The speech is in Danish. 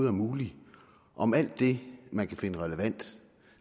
er muligt om alt det man kan finde relevant